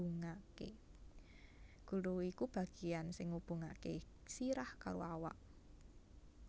Gulu iku bagéan sing ngubungaké sirah karo awak